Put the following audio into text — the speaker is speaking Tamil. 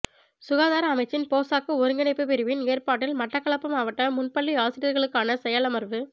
சுகாதார அமைச்சின் போசாக்கு ஒருங்கிணைப்பு பிரிவின் ஏற்பாட்டில் மட்டக்களப்பு மாவட்ட முன்பள்ளி ஆசிரியர்களுக்கான செயலமர்வு